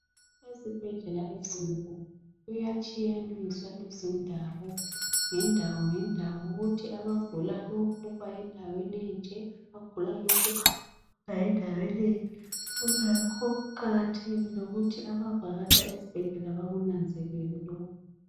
Ezibhedlela ezinkulu kuyatshiyaniswa izindawo, ngendawongendawo kuthi abagula lokhu bayendaweni enje abagula lokhu bayendaweni enje kungakho kuqakathekile ukuthi abavakatsha ezibhedlela bakunanzelele lokhu.